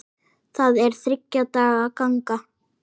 Það er þriggja daga ganga.